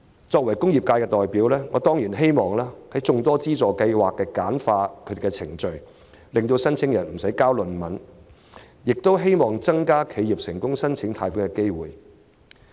作為工業界的代表，我當然希望這類資助計劃能盡量簡化程序，無須申請人"交論文"，亦希望更多企業能成功申請貸款。